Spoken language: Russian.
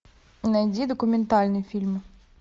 найди документальный фильм